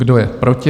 Kdo je proti?